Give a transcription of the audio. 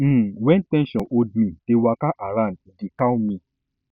um wen ten sion hold mei um dey waka around e dey um calm me